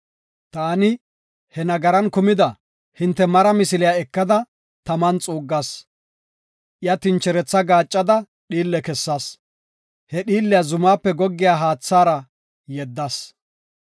Taani hinte nagaran kumida he mara misiliya ekada, taman xuuggas. Iya tincheretha gaaccada dhiille kessas; he dhiilliya zumaape goggiya haathara yeddas.